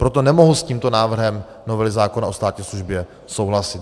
Proto nemohu s tímto návrhem novely zákona o státní službě souhlasit.